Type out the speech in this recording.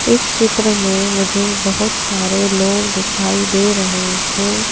इस चित्र में मुझे बहुत सारे लोग दिखाई दे रहे हैं।